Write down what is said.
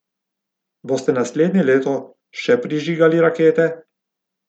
Boste naslednje leto še prižigali rakete?